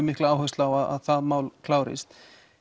mikla áherslu á að það mál klárist